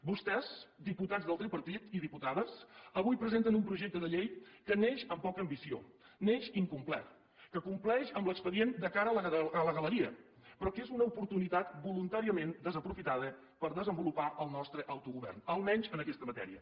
vostès diputats del tripartit i diputades avui presenten un projecte de llei que neix amb poca ambició neix incomplet que compleix amb l’expedient de cara a la galeria però que és una oportunitat voluntàriament desaprofitada per desenvolupar el nostre autogovern almenys en aquesta matèria